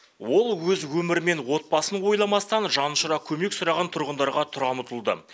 ол өз өмірі мен отбасын ойламастан жан ұшыра көмек сұраған тұрғындарға тұра ұмтылды